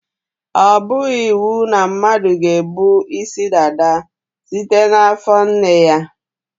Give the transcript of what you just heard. Ọ bụghị iwu na mmadụ ga-ebu isi dada site n' afọ nne ya.